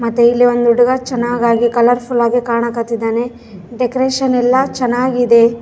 ಇದು ನೋಡೋಕೆ ಹಾಸ್ಯ ಅನ್ನಿಸ್ತಿದೆ ಎದು ಯಾವ್ದೋ ಫನ್ಕ್ಷನಿನ್ನ ಚಿತ್ರಣ ಅಲ್ಲಿ ಇತರ ಫೋಸ್ ಕೊಡ್ತ ಇದಾರೆ.